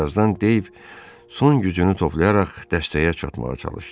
Birazdan Deyv son gücünü toplayaraq dəstəyə çatmağa çalışdı.